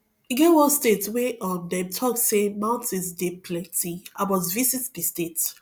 e get one state wey um dem talk say mountains dey plenty i must visit di state